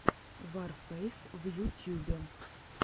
ворфэйс в ютьюбе